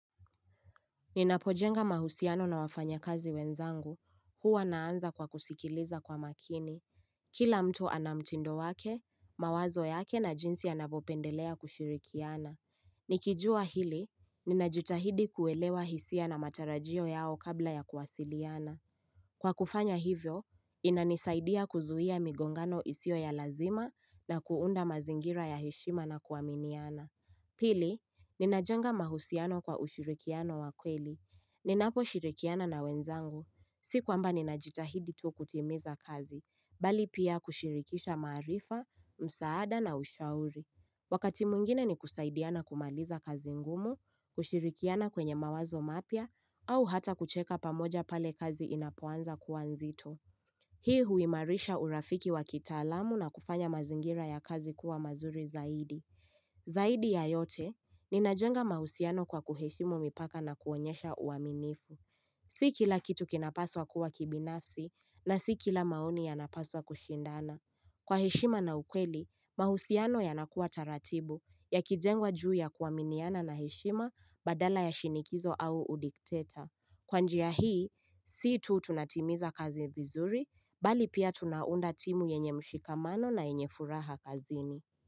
Ninapojenga mahusiano na wafanya kazi wenzangu, huwa naanza kwa kusikiliza kwa makini. Kila mtu anamchindo wake, mawazo yake na jinsi anapopendelea kushirikiana. Nikijua hili, ninajutahidi kuelewa hisia na matarajio yao kabla ya kuwasiliana. Kwa kufanya hivyo, inanisaidia kuzuia migongano isio ya lazima na kuunda mazingira ya heshima na kuaminiana. Pili, ninajenga mahusiano kwa ushirikiano wakweli. Ninapo shirikiana na wenzangu, sikuamba ninajitahidi tu kutimiza kazi, bali pia kushirikisha marifa, msaada na ushauri. Wakati mungine ni kusaidiana kumaliza kazi ngumu, kushirikiana kwenye mawazo mapia, au hata kucheka pamoja pale kazi inapuanza kuanzito. Hii huimarisha urafiki wa kitaalamu na kufanya mazingira ya kazi kuwa mazuri zaidi. Zaidi ya yote, ninajenga mahusiano kwa kuheshimu mipaka na kuonyesha uaminifu. Si kila kitu kinapaswa kuwa kibinafsi na si kila mauni yanapaswa kushindana. Kwa heshima na ukweli, mahusiano yanakuwa taratibu ya kijengwa juu ya kuaminiana na heshima badala ya shinikizo au udikteta. Kwa njiya hii, si tu tunatimiza kazi vizuri, bali pia tunaunda timu yenye mshikamano na yenye furaha kazini.